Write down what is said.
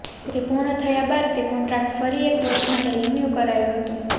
તે પૂર્ણ થયા બાદ તે કોન્ટ્રાક્ટ ફરી એક વર્ષ માટે રીન્યુ કરાયો હતો